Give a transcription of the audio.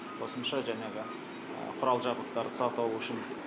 қосымша жәнегі құрал жабдықтарды сатып алу үшін